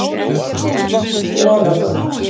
Rofabæ